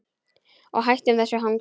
Og hættum þessu hangsi.